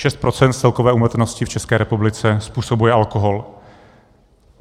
Šest procent z celkové úmrtnosti v České republice způsobuje alkohol.